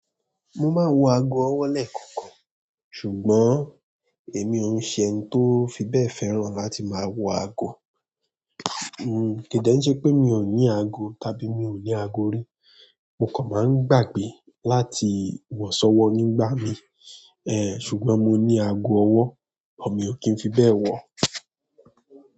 Mo máa ń wọ ago ọwọ́ lẹ́ẹ̀kọ̀kan, ṣùgbọ́n èmi òun ṣe ẹni tó fi bẹ́ẹ̀ fẹ́ràn láti máa wọ ago. Kíì dẹ̀ n ṣe pé mí o ní ago tàbí mi o ni àgó ri. Mo kan máa ń gbàgbé láti wọ sọ́wọ́ nígbà mí, ẹ́ẹ̀ ṣùgbọ́n mo ní ago ọwọ́, àmọ́ mi ò kí ń fi bẹ́ẹ̀ wọ̀.